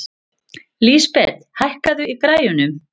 Lísabet, hækkaðu í græjunum.